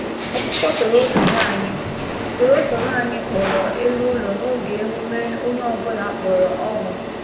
Ọkụkọ torotoro anyị torotoro anyị kpọrọ elu ụlọ n’oge emume—onye ọ bụla kpọrọ ọṅụ.